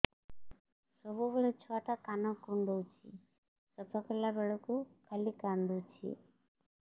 ସବୁବେଳେ ଛୁଆ ଟା କାନ କୁଣ୍ଡଉଚି ସଫା କଲା ବେଳକୁ ଖାଲି କାନ୍ଦୁଚି